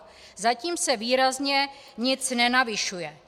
Zatím se výrazně nic nenavyšuje.